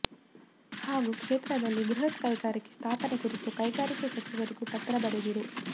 ಹಾಗೂ ಕ್ಷೇತ್ರ ದಲ್ಲಿ ಬೃಹತ್ ಕೈಗಾರಿಕೆ ಸ್ಥಾಪನೆ ಕುರಿತು ಕೈಗಾರಿಕೆ ಸಚಿವರಿಗೂ ಪತ್ರ ಬರೆದಿರು